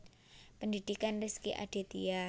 Pendhidhikan Rezky Aditya